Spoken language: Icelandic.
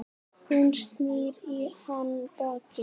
Hún snýr í hann baki.